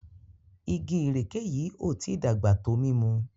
Ìgi ìrèké yí o tí dàgbà tó mímú